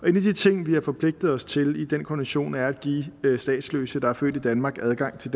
de ting vi har forpligtet os til i den konvention er at give statsløse der er født i danmark adgang til